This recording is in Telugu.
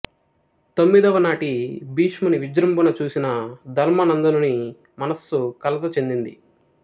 తొమ్మిదవనాటి భీష్ముని విజృంభణ చూసిన ధర్మనందనుని మన్సు కలత చెందింది